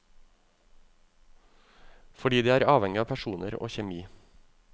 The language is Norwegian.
Fordi det er avhengig av personer og kjemi.